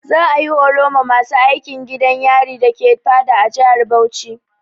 Za'a yi horo ma masu aikin gidan yarin dake Fada a jihar Bauchi.